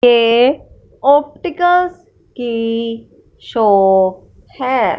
ये ऑप्टिकल्स की शॉप है।